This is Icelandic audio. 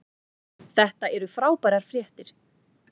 Þetta eru frábærar fréttir